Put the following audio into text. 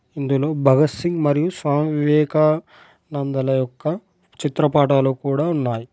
ఇందులో భగత్ సింగ్ మరియు స్వామి వివేకా నందల యొక్క చిత్రపటాలు కూడా ఉన్నాయ్.